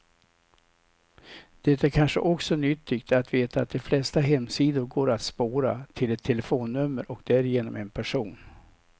Det är kanske också nyttigt att veta att de flesta hemsidor går att spåra, till ett telefonnummer och därigenom en person.